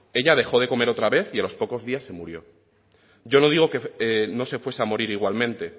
ella dejó de comer otra vez y a los pocos días se murió yo no digo que no se fuese a morir igualmente